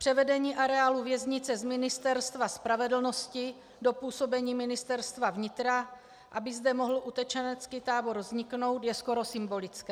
Převedení areálu věznice z Ministerstva spravedlnosti do působení Ministerstva vnitra, aby zde mohl utečenecký tábor vzniknout, je skoro symbolické.